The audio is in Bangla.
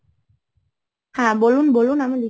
হ্যাঁ, বলুন, বলুন, আমি লিখছি।